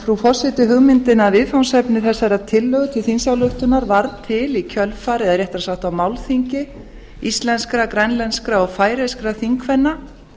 frú forseti hugmyndin að viðfangsefni þessarar tillögu til þingsálytkuar varð til í kjölfarið eða réttara sagt á málþingi íslenskra grænlenskra og færeyskra þingkvenna